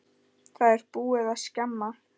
Það er búið að skemma.